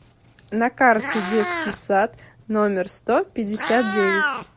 на карте детский сад номер сто пятьдесят девять